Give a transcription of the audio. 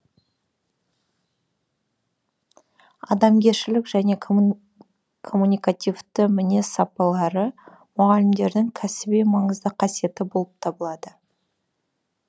адамгершілік және коммуникативті мінез сапалары мұғалімдердің кәсіби маңызды қасиеті болып табылады